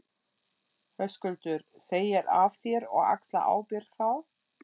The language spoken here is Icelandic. Höskuldur: Segir af þér og axlar ábyrgð þá?